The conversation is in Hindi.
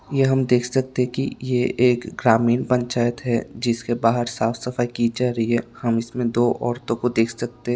यह हम देख सकते कि ये एक ग्रामीण पंचायत है जिसके बाहर साफ सफाई की जा रही है हम इसमें दो औरतों को देख सकते--